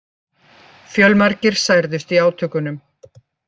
Fjölmargir særðust í átökunum